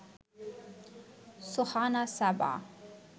Sohana Saba